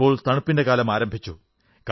ഇപ്പോൾ തണുപ്പിന്റെ കാലം ആരംഭിച്ചു